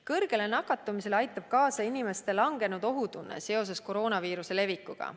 Kõrgele nakatumusele aitab kaasa inimeste langenud ohutunne seoses koroonaviiruse levikuga.